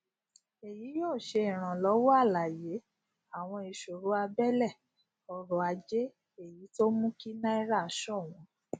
èyí yóò ṣe ìrànlọwọ àlàyé àwọn ìṣòro abẹlẹ ọrọ ajé èyí tó mú kí náírà ṣọwọn